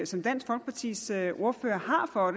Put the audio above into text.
som dansk folkepartis ordfører har for